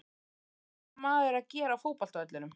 Hvað er þessi maður að gera á fótbolta vellinum?